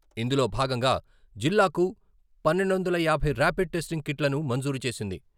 ఇందులో భాగంగా జిల్లాకు పన్నెండు వందల యాభై రాపిడ్ టెస్టింగ్ కిట్లను మంజూరు చేసింది.